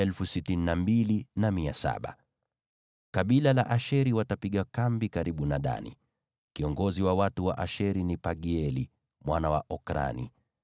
Kabila la Asheri watapiga kambi karibu na Dani. Kiongozi wa watu wa Asheri ni Pagieli mwana wa Okrani.